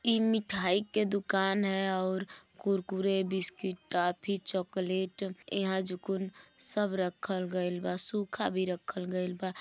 ई मिथाई के दुकान है अउर कुरकुरे बिस्किट टॉफी चॉकलेट इहां जुकुन सब रखल गइल बा सूखा भी रखल गइल बा।